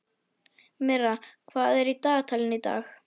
Myrra, hvað er í dagatalinu í dag?